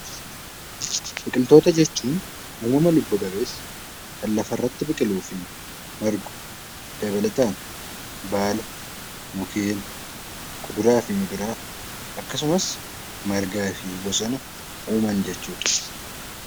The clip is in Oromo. Biqiltoota jechuun wantoota lubbu qabeeyyii kan lafa irratti biqiluu fi margu, dabalataan baala, mukeen, kuduraa fi muduraa akkasumas margaa fi bosona fa'i jechuudha.